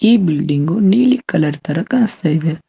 ಈ ಬಿಲ್ಡಿಂಗು ನೀಲಿ ಕಲರ್ ತರ ಕಾಣಸ್ತಾ ಇದೆ.